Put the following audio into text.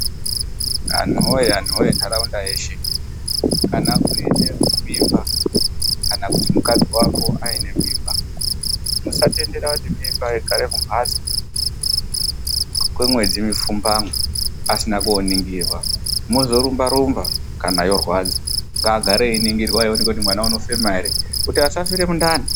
Anhuwoye anhuwoye nharaunda yeshe. Kana une mimba, kana kuti mukadzi wako aine mimba, musatendera kuti mimba igare kumbatso kwemwedzi mipfumbamwe asina koningirwa, mwozorumba rumba kana yorwadza. Ngagare einingirwa kuti mwana uoneke kuti unofema ere kuti asafura mundani.